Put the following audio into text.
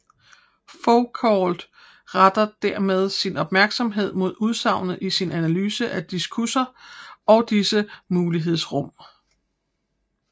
Foucault retter dermed sin opmærksomhed mod udsagnet i sin analyse af diskurser og disses mulighedsrum